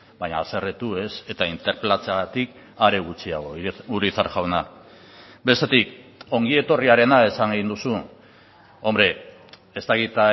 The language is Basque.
baina haserretu ez eta interpelatzeagatik are gutxiago urizar jauna bestetik ongi etorriarena esan egin duzu hombre ez dakit